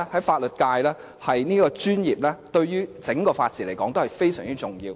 法律界這個專業，對於整個法治來說是非常重要的。